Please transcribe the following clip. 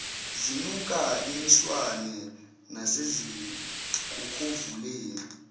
zinuka imiswane nasezinkokhovuleni